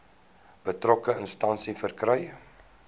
betrokke instansie verkry